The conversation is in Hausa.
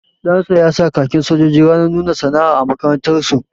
Ɗansa ya sa khakin sojoji ranar nuna sana'a a makarantar su